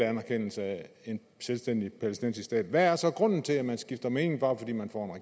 anerkendelse af en selvstændig palæstinensisk stat hvad er så grunden til at man skifter mening bare fordi man kommer